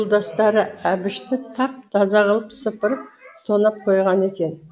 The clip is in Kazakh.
жолдастары әбішті тап таза қылып сыпырып тонап қойған екен